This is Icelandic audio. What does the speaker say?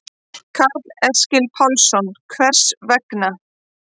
Karl Eskil Pálsson: Hvers vegna?